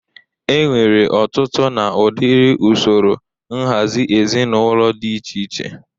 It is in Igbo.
E nwere ọtụtụ na ụdịrị usoro nhazị ezinụlọ dị iche iche.